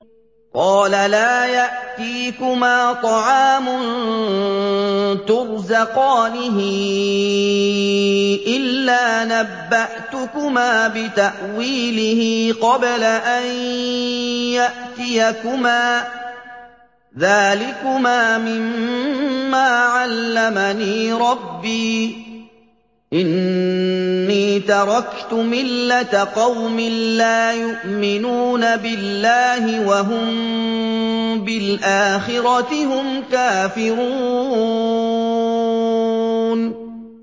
قَالَ لَا يَأْتِيكُمَا طَعَامٌ تُرْزَقَانِهِ إِلَّا نَبَّأْتُكُمَا بِتَأْوِيلِهِ قَبْلَ أَن يَأْتِيَكُمَا ۚ ذَٰلِكُمَا مِمَّا عَلَّمَنِي رَبِّي ۚ إِنِّي تَرَكْتُ مِلَّةَ قَوْمٍ لَّا يُؤْمِنُونَ بِاللَّهِ وَهُم بِالْآخِرَةِ هُمْ كَافِرُونَ